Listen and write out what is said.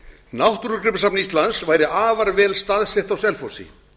náttúrugripasafn íslands væri afar vel staðsett á selfossi